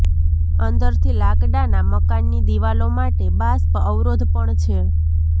અંદરથી લાકડાના મકાનની દિવાલો માટે બાષ્પ અવરોધ પણ છે